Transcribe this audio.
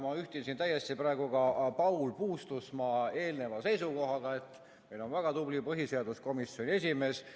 Ma ühtin siin täiesti praegu ka Paul Puustusmaa eelneva seisukohaga, et meil on väga tubli põhiseaduskomisjoni esimees.